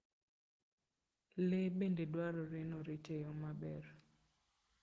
Le bende dwarore ni orit e yo maber.